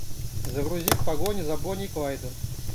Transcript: загрузи в погоне за бонни и клайдом